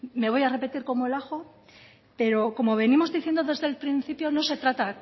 me voy a repetir como el ajo pero como venimos diciendo desde el principio no se trata